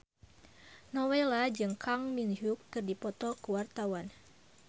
Nowela jeung Kang Min Hyuk keur dipoto ku wartawan